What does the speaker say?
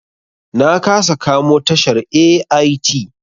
Na kasa kamo tashar AIT.